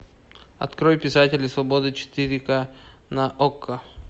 открой писатели свободы четыре к на окко